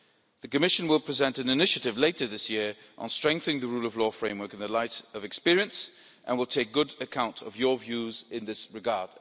The Commission will present an initiative later this year on strengthening the rule of law framework in the light of experience and will take good account of your views in this regard.